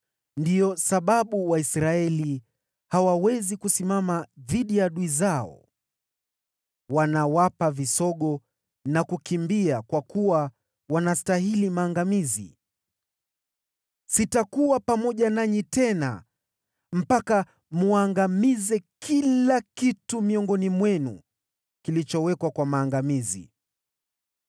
Ndiyo sababu Waisraeli hawawezi kusimama dhidi ya adui zao. Wanawapa visogo na kukimbia kwa kuwa wanastahili maangamizi. Sitakuwa pamoja nanyi tena mpaka mwangamize kila kitu miongoni mwenu kilichotengwa kwa maangamizi.